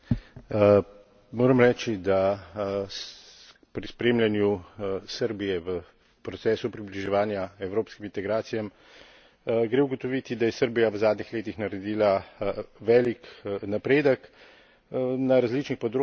Moram reči, da pri spremljanju Srbije v procesu približevanja evropskim integracijam gre ugotoviti, da je Srbija v zadnjih letih naredila velik napredek na različnih področjih, na